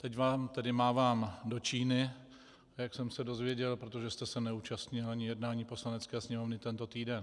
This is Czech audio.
Teď vám tedy mávám do Číny, jak jsem se dozvěděl, protože jste se neúčastnil ani jednání Poslanecké sněmovny tento týden.